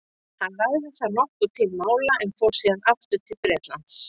hann lagði þar nokkuð til mála en fór síðan aftur til bretlands